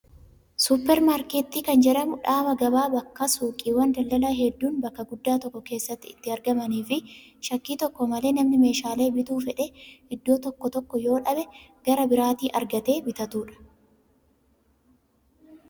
Suupparmaarkeetii kan jedhamu dhaaba gabaa bakka suuqiiwwan daldalaa hedduun bakka guddaa tokko keessatti itti argamanii fi shakkii tokko malee namni meeshaalee bituu fedhe iddoo tokkoo yoo dhabe gara biraatii argatee bitatudha.